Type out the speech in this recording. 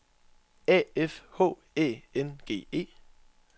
A F H Æ N G E